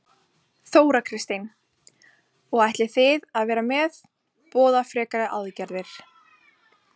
Þóra Kristín: Og þið ætlið að vera með, boða frekari aðgerðir?